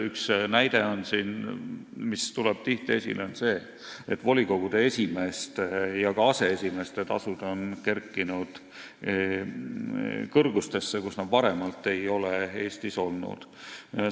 Üks näide, mis siin tihti esile tuleb, on see, et volikogude esimeeste ja ka aseesimeeste tasud on kerkinud sellistesse kõrgustesse, kus need varem Eestis olnud ei ole.